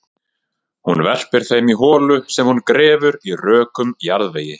Hún verpir þeim í holu sem hún grefur í rökum jarðvegi.